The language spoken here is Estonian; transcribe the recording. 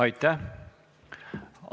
Aitäh!